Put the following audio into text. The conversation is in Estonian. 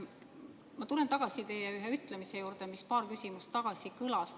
Ma tulen tagasi teie ühe ütlemise juurde, mis paar küsimust tagasi kõlas.